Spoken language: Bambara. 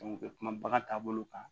u bɛ kuma bagan taabolo kan